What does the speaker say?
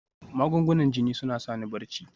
Magungunan jini suna sa ni barci